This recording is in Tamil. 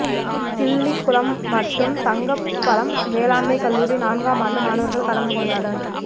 கிள்ளிக்குளம் மற்றும் தங்கப்பழம் வேளாண்மைக் கல்லூரி நான்காம் ஆண்டு மாணவா்கள் கலந்து கொண்டனா்